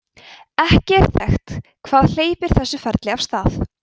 ekki er þekkt hvað hleypir þessu ferli af stað